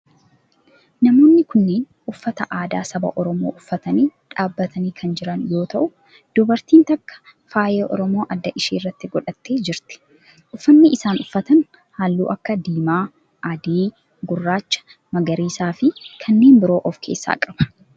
Namoonni kunneen uffata aadaa saba oromoo uffatanii dhaabbatanii kan jiran yoo ta'u dubartiin takka faaya oromoo adda ishee irratti godhattee jirti. uffanni isaan uffatan halluu akka diimaa, adii, gurraacha, magariisaa fi kanneen biroo of keessaa qaba.